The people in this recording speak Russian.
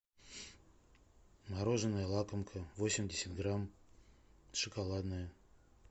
мороженое лакомка восемьдесят грамм шоколадное